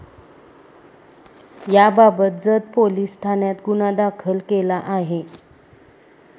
याबाबत जत पोलिस ठाण्यात गुन्हा दाखल केला आहे.